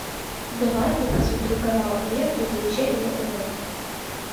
давай я посмотрю канал мир увлечений на тв